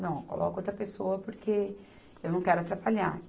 Não, coloque outra pessoa porque eu não quero atrapalhar.